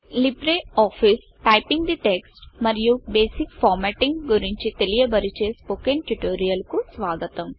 Libre office typing the text మరియు basic formatting గురించి తెలియ చేసే స్పోకెన్ ట్యుటోరియల్ కు స్వాగతం